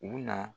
U bɛna